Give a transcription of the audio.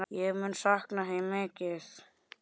Ég mun sakna þín mikið.